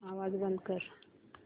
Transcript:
आवाज बंद कर